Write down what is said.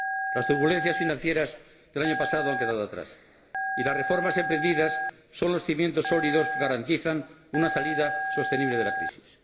Las turbulencias financieras del año pasado han quedado atrás y las reformas emprendidas son los cimientos sólidos que garantizan una salida sostenible de la crisis.